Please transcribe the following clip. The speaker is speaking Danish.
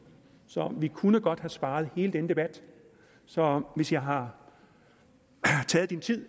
så vi kunne godt have sparet hele denne debat så hvis jeg har taget